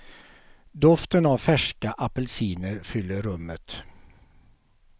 Doften av färska apelsiner fyller rummet.